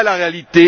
Voilà la réalité